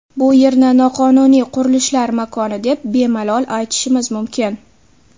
Bu yerni noqonuniy qurilishlar makoni deb bemalol aytishimiz mumkin.